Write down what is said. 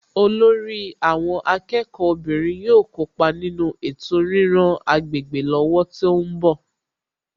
Olórí àwọn akẹ́kọ̀ọ́ obìnrin yóò kópa nínú ètò ríran agbègbè lọ́wọ́ tó ń bọ̀